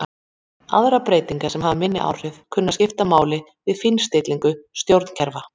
Aðrar breytingar sem hafa minni áhrif kunna að skipta máli við fínstillingu stjórnkerfa.